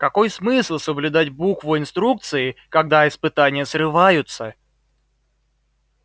какой смысл соблюдать букву инструкции когда испытания срываются